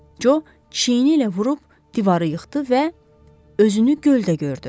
Co çiyni ilə vurub divarı yıxdı və özünü göldə gördü.